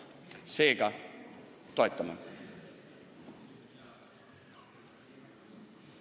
Seega, toetame!